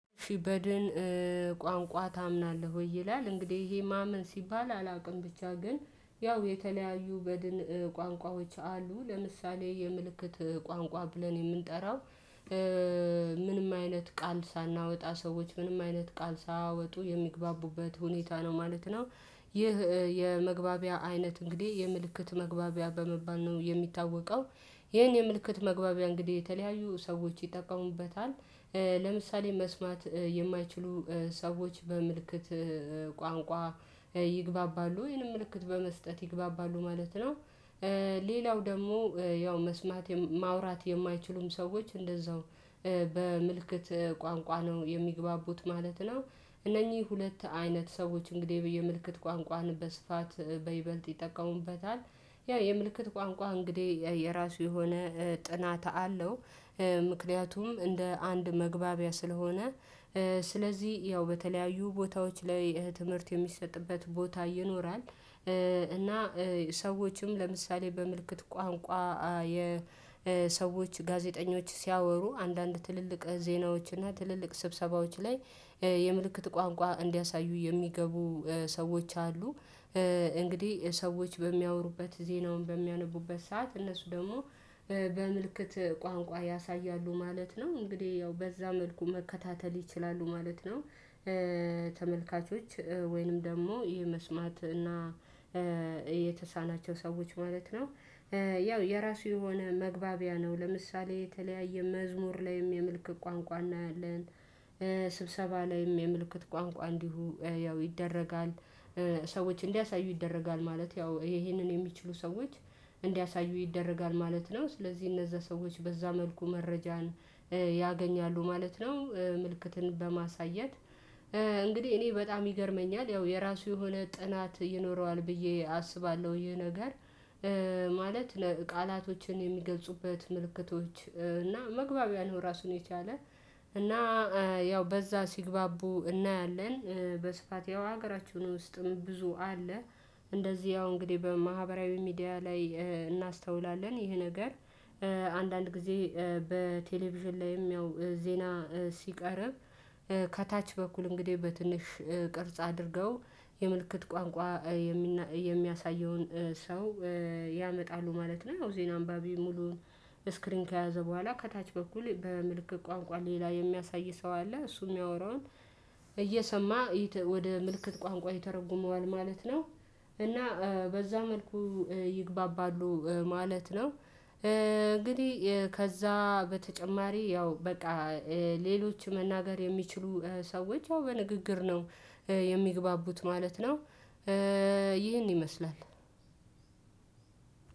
ሺህ በድን ቋንቋ ታምናለህ ወይ ይላል እንግዲህ ይሄ ማመን ሲባል አላውቅም። ብቻ ግን ያው የተለያዩ በድን ቋንቋዎች አሉ ለምሳሌ የምልክት ቋንቋ ብለን የምንጠራው አይነት ቃል ሳናወጣ ሰዎች ምንም አይነት ቃል ሳያወጡ የሚግባቡበት ሁኔታ ነው ማለት ነው። ይህ የመግባቢያ አይነት እንግዲህ የምልክት መግባቢያ በመባል ነው የሚታወቀው። ይሄን የምልክት መግባቢያ እንግዲህ የተለያዩ ሰዎች ይጠቀሙበታል። ለምሳሌ መስማት የማይችሉ ሰዎች በምልክት ቋንቋ ይግባባሉ ይሄህንን ምልክት በመስጠት ይግባባሉ ማለት ነው። ሌላው ደግሞ ያው መስማት ማውራት የማይችሉም ሰዎች እንደዛው በምልክት ቋንቋ ነው የሚግባቡት ማለት ነው። እነኚህ ሁለት አይነት ሰዎች እንግዲህ በ የምልክት ቋንቋን በስፋት በይበልጥ ይጠቀሙበታል። ያ የምልክት ቋንቋ እንግዲህ የራሱ የሆነ ጥናት አለው። ምክንያቱም እንደ አንድ መግባቢያ ስለሆነ። ስለዚህ ያው በተለያዩ ቦታዎች ላይ ትምህርት የሚሰጥበት ቦታ ይኖራል። እና ሰዎችም ለምሳሌ በምልክት ቋንቋ የሰዎች ጋዜጠኞች ሲያወሩ አንዳንድ ትልልቅ ዜናዎችና ትልልቅ ስብሰባዎች ላይ የምልክት ቋንቋ እንዲያሳዩ የሚገቡ ሰዎች አሉ። እንግዲህ ሰዎች በሚያወሩበት ዜናውን በሚያነቡበት ሰዓት እነሱ ደግሞ በምልክት ቋንቋ ያሳያሉ ማለት ነው እንግዲህ ያው በዛ መልኩ መከታተል ይችላሉ ማለት ነው። ተመልካቾች ወይንም ደግሞ የመስማት እና የተሳናቸው ሰዎች ማለት ነው። ያው የራሱ የሆነ መግባቢያ ነው ለምሳሌ የተለያየ መዝሙር ላይም የምልክት ቋንቋ እናያለን። ስብሰባ ላይም የምልክት ቋንቋ እንዲሁ ያው ይደረጋል። ሰዎች እንዲያሳዩ ይደረጋል ማለት ያው ይሄንን የሚችሉ ሰዎች እንዲያሳዩ ይደረጋል ማለት ነው። ስለዚህ እነዛ ሰዎች በዛ መልኩ መረጃን ያገኛሉ ማለት ነው። ምልክትን በማሳየት እንግዲህ እኔ በጣም ይገርመኛል ያው የራሱ የሆነ ጥናት ይኖረዋል ብዬ አስባለሁ ይሄ ነገር። ማለት ቃላቶችን የሚገብጹበት ምልክቶች እና መግባቢያ ነው ራሱን የቻለ እና ያው በዛ ሲግባቡ እናያለን። በስፋት ያው ሀገራችን ውስጥም ብዙ አለ። እንደዚህ ያው እንግዲህ በማህበራዊ ሚዲያ ላይ እናስተውላለን ይሄ ነገር። አንዳንድ ጊዜ በቴሌቪዥን ላይም ያው ዜና ሲቀርብ ከታች በኩል እንግዲህ በትንሽ ቅርጽ አድርገው የምልክት ቋንቋ የሚያሳየውን ሰው ያመጣሉ ማለት ነው። ያው ዜና አንባቢ ሙሉውን እስክሪን ከያዘ በኋላ ከታች በኩል በምልክት ቋንቋ ሌላ የሚያሳይ ሰው አለ። እሱ የሚያወራውን እየሰማ ወደ ምልክት ቋንቋ ይተረጉመዋል ማለት ነው። እና በዛ መልኩ ይግባባሉ ማለት ነው። ከዛ በተጨማሪ ያው በቃ ሌሎች መናገር የሚችሉ ሰዎች ያው በንግግር ነው የሚግባቡት ማለት ነው። ይህን ይመስላል።